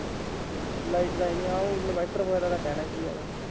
Light ਤਾਂ ਆਈ ਨੀ ਹਾਂ ਉਹ inverter ਵਗੈਰਾ ਦਾ ਕਹਿਣਾ ਕੀ ਹੈਗਾ।